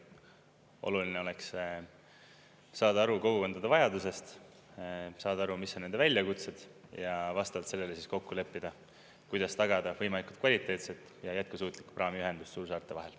Oluline oleks saada aru kogukondade vajadusest, saada aru, mis on nende väljakutsed, ja vastavalt sellele siis kokku leppida, kuidas tagada võimalikult kvaliteetset ja jätkusuutlikku praamiühendust suursaarte vahel.